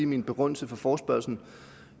min begrundelse for forespørgslen